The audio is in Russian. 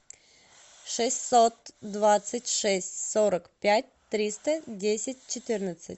шестьсот двадцать шесть сорок пять триста десять четырнадцать